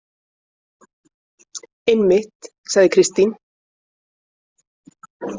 Einmitt, sagði Kristín.